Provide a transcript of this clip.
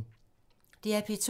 DR P2